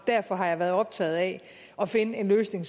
derfor har jeg været optaget af at finde en løsning